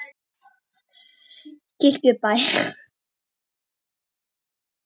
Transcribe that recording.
Kirkjubæ